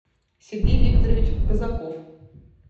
сергей викторович казаков